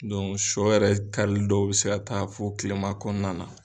shɔ yɛrɛ karili dɔw bɛ se ka taa fɔ kilema kɔnɔna na.